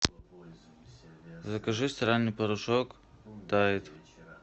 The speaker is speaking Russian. закажи стиральный порошок тайд